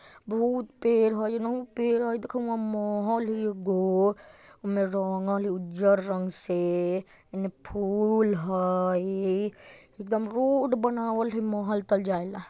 बहुत पेड़ हई एहनु पेड़ हई देखउ उहाँ महल हई एगगो ओमे रंगल हइ उज्जर रंग से एने फूल हई एकदम रोड बनावल हई महल तल जाएला।